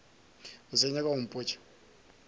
o sa nyaka go mpotša